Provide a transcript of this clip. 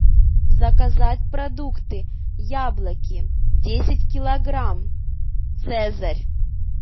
заказать продукты яблоки десять килограмм цезарь